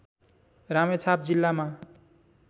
रामेछाप जिल्लामा